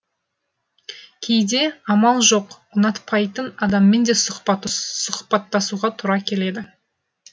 кейде амал жоқ ұнатпайтын адаммен де сұхбаттасуға тура келеді